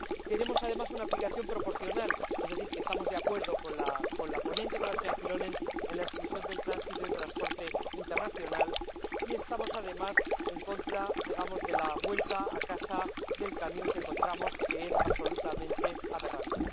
Queremos, además, una aplicación proporcional, es decir, que estamos de acuerdo con la ponente, con la señora Kyllönen, en la exclusión del tránsito y el transporte internacional, y estamos en contra de la vuelta a casa del camión, que encontramos que es absolutamente aberrante.